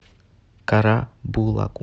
карабулаку